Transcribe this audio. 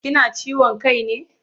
Kina ciwon kai ne?